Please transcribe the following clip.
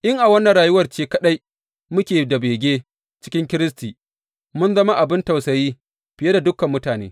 In a wannan rayuwar ce kaɗai muke da bege cikin Kiristi, mun zama abin tausayi fiye da dukan mutane.